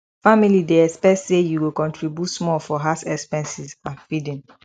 family dey expect say you go contribute small for house expenses and feeding